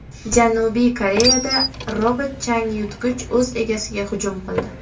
Janubiy Koreyada robot-changyutgich o‘z egasiga hujum qildi.